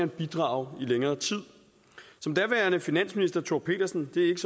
bidrage i længere tid som daværende finansminister thor pedersen det er